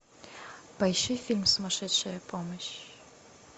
поищи фильм сумасшедшая помощь